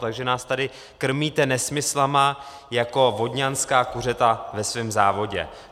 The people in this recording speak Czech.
Takže nás tady krmíte nesmysly jako vodňanská kuřata ve svém závodě.